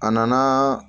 A nana